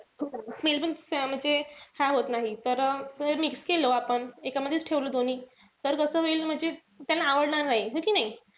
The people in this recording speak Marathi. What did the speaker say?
Smell पण म्हणजे हा होत नाही. तर जर mix केलं आपण. एका मधेच ठेवलं दोन्ही तर कस होईल म्हणजे त्याला आवडणार नाई. है कि नाई?